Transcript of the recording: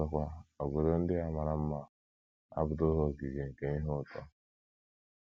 Ọzọkwa, obodo ndị a “ mara mma ” abụtụghị ogige nke ihe ụtọ.